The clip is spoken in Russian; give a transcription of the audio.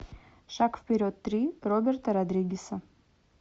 шаг вперед три роберта родригеса